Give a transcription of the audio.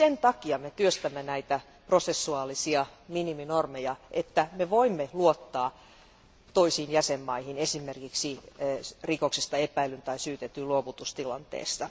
Juuri sen takia me työstämme prosessuaalisia miniminormeja, että voimme luottaa toisiin jäsenmaihin esimerkiksi rikoksesta epäillyn tai syytetyn luovutustilanteessa.